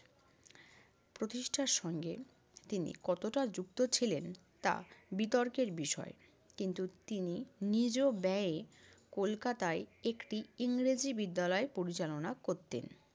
প্রতিষ্ঠার সঙ্গে তিনি কতটা যুক্ত ছিলেন তা বিতর্কের বিষয়। কিন্তু তিনি নিজ ব্যয়ে কলকাতায় একটি ইংরেজি বিদ্যালয় পরিচালনা করতেন।